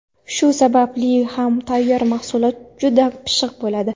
Shu sababli ham tayyor mahsulot juda pishiq bo‘ladi.